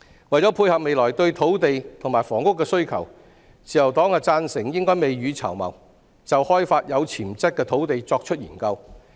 為了配合未來對土地和房屋的需求，自由黨贊成應該未雨綢繆，就開發有潛質的土地作研究。